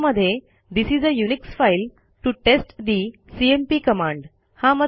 यामध्ये this is a Unix file to test the CMP command